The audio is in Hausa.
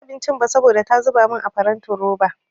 Banci abincin ba saboda ta zuba min a farantin roba.